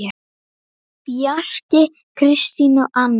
Bjarki, Kristín og Anna.